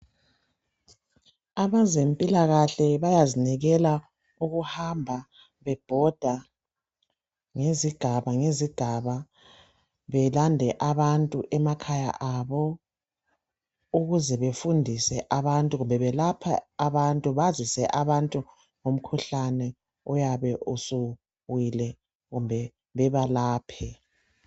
Abezempilakahle bayazinikela ukuhamba bebhoda ngezigaba ngezigaba belande abantu emakhaya abo kumbe belapha abantu bazise abantu ngomkhuhlane oyabe usuwile kumbe bebalaphe.